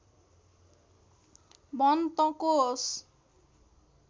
भन् तँ को होस्